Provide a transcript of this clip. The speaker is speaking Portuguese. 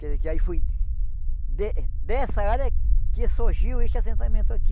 Quer dizer, que aí foi de dessa área que surgiu este assentamento aqui.